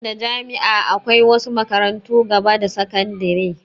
Banda jami'a akwai wasu makarantun gaba da sakandire